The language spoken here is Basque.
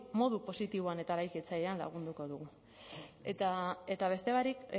modu positiboan eta eraikitzailean lagunduko dugu eta beste barik